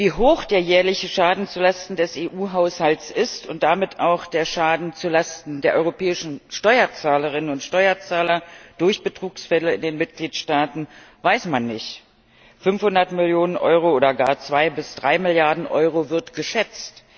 Wie hoch der jährliche Schaden zulasten des EU Haushalts ist und damit auch der Schaden zulasten der europäischen Steuerzahlerinnen und Steuerzahler durch Betrugsfälle in den Mitgliedstaaten, weiß man nicht. 500 Millionen Euro oder gar 2 bis 3 Milliarden Euro wird geschätzt.